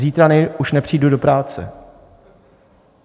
Zítra už nepřijdu do práce.